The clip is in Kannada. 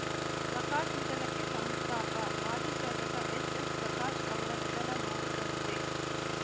ಪ್ರಕಾಶ್‌ ನಿಧನಕ್ಕೆ ಸಂತಾಪ ಮಾಜಿ ಶಾಸಕ ಎಚ್‌ಎಸ್‌ಪ್ರಕಾಶ್‌ ಅವರ ನಿಧನ ನೋವು ತಂದಿದೆ